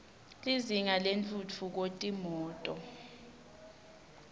lizinga lentfutfu ko yetimoto